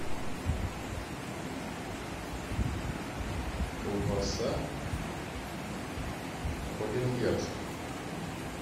колбаса по венгерски